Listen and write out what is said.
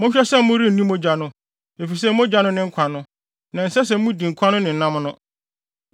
Monhwɛ sɛ morenni mogya no, efisɛ mogya no ne nkwa no, na ɛnsɛ sɛ mudi nkwa no ne nam no.